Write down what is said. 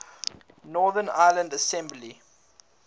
northern ireland assembly